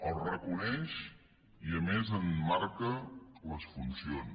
els reconeix i a més en marca les funcions